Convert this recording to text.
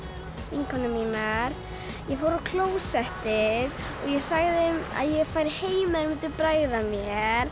vinkonur mínar ég fór á klósettið ég sagði þeim að ég færi heim ef þær myndu bregða mér